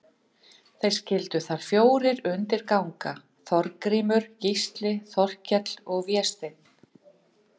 Þeir skyldu þar fjórir undir ganga, Þorgrímur, Gísli, Þorkell og Vésteinn.